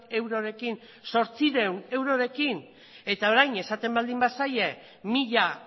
eurorekin zortziehun eurorekin eta orain esaten baldin bazaie mila